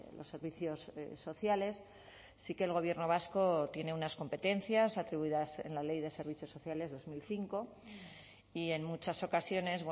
los servicios sociales sí que el gobierno vasco tiene unas competencias atribuidas en la ley de servicios sociales dos mil cinco y en muchas ocasiones